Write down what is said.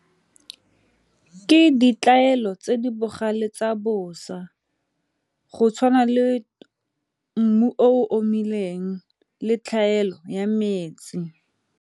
Ke tse di bogale tsa bosa go tshwana le mmu o omileng le tlhaelo ya metsi.